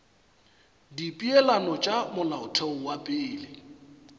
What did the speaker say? dipeelano tša molaotheo wa pele